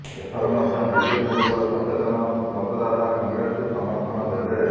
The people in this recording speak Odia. ଏଥର ମଧ୍ୟ ବିଜେପୁରର ସଚେତନ ମତଦାତା କଂଗ୍ରେସକୁ ସମର୍ଥନ ଦେବେ